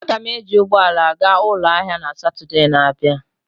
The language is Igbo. Aga m eji ụgbọ ala gaa ụlọ ahịa na Satọde na-abịa.